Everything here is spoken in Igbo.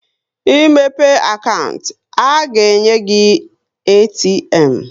Ị mepe akantị, a ga-enye gị ATM